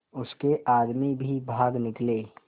उसके आदमी भी भाग निकले